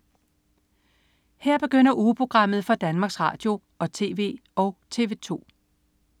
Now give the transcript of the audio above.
Her begynder ugeprogrammet for Danmarks Radio- og TV og TV2